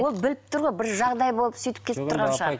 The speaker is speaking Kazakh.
ол біліп тұр ғой бір жағдай болып сөйтіп кетіп тұрған шығар